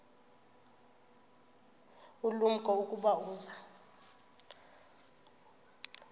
ulumko ukuba uza